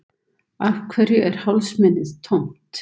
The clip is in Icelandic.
Af hverju er hálsmenið tómt?